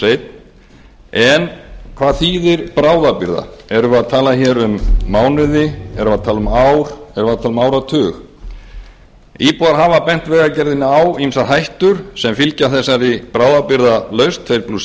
ein en hvað þýðir bráðabirgða erum við að tala um mánuði erum við að tala um ár erum við að tala um áratug íbúar hafa bent vegagerðinni á ýmsar hættur sem fylgja þessari bráðabirgðalausn tvo